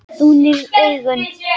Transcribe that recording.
Þú nýrð augun.